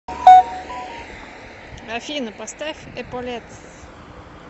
афина поставь эполетс